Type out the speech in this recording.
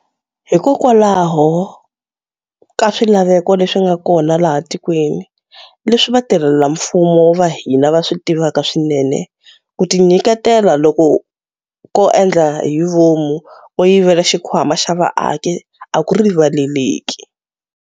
Hikokwalaho ka swilaveko leswi nga kona laha tikweni, leswi vatirhelamfumo va hina va swi tivaka swinene, ku tinyiketela loku ko endla hi vomu ko yivela xikhwama xa vaaki a ku rivaleleki.